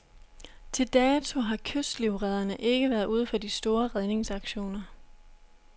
Til dato har kystlivredderne ikke været ude for de store redningsaktioner.